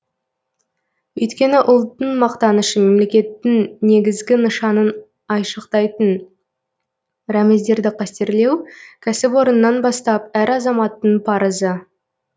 өйткені ұлттың мақтанышы мемлекеттің негізгі нышанын айшықтайтын рәміздерді қастерлеу кәсіпорыннан бастап әр азаматтың парызы